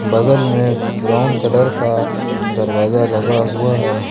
बगल में brown colour का दरवाजा लगा हुआ है।